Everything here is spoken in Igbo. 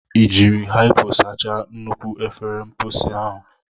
Ị jiri hypo sachaa nnukwu efere mposi ahụ?